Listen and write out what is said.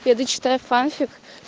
я дочитаю фанфик